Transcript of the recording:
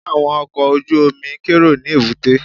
Ṣé àwọn ọkọ̀ ojú-omi ń kérò ní èbúté?